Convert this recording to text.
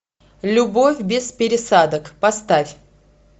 любовь без пересадок поставь